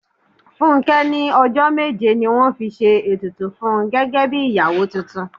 Fúnké ní ọjọ́ méje ni wọ́n fi ṣe ètùtù fún gẹ́gẹ́ bí ìyàwó tuntun.